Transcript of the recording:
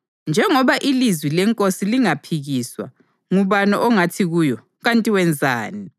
Njengoba ilizwi lenkosi lingaphikiswa ngubani ongathi kuyo, “Kanti wenzani?”